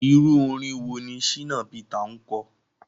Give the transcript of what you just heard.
Irú orin wo ni Shina Peter ń kọ?